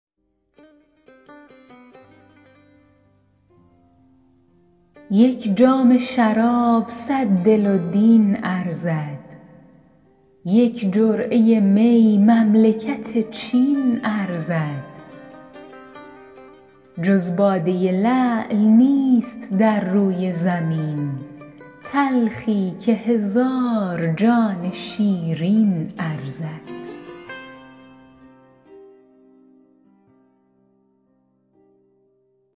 یک جام شراب صد دل و دین ارزد یک جرعه می مملکت چین ارزد جز باده لعل نیست در روی زمین تلخی که هزار جان شیرین ارزد